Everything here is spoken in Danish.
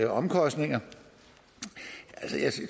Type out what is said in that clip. omkostninger